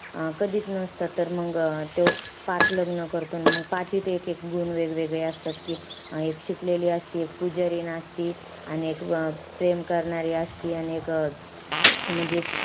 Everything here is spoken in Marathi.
अं कधीच नसतात. तर मंग तो पाच लग्न करतो. अन मंग पाचीत एक-एक गुण वेगवेगळे असतात. कि एक शिकलेली असती, एक पूजारिण असती आणि एक प्रेम करणारी असती आणि एक अं म्हणजे,